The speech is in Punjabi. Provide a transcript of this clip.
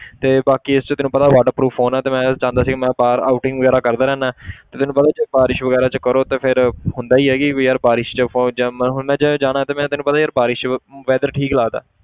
ਤੇ ਬਾਕੀ ਇਸ 'ਚ ਤੈਨੂੰ ਪਤਾ water proof phone ਹੈ ਤੇ ਮੈਂ ਚਾਹੁੰਦਾ ਸੀਗਾ ਮੈਂ ਬਾਹਰ outing ਵਗ਼ੈਰਾ ਕਰਦਾ ਰਹਿਨਾ ਤੇ ਤੈਨੂੰ ਪਤਾ ਜੇ ਬਾਰਿਸ਼ ਵਗ਼ੈਰਾ 'ਚ ਕਰੋ ਤੇ ਫਿਰ ਹੁੰਦਾ ਹੀ ਹੈ ਕਿ ਵੀ ਯਾਰ ਬਾਰਿਸ਼ 'ਚ phone ਜਿਵੇਂ ਹੁਣ ਮੈਂ ਜੇ ਜਾਣਾ ਤੇ ਮੇਰਾ ਤੈਨੂੰ ਪਤਾ ਯਾਰ ਬਾਰਿਸ਼ weather ਠੀਕ ਲੱਗਦਾ